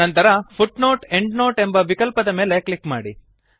ನಂತರ footnoteಎಂಡ್ನೋಟ್ ಎಂಬ ವಿಕಲ್ಪದ ಮೇಲೆ ಕ್ಲಿಕ್ ಮಾಡಿ